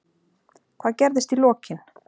Hvað gerðist í lokin?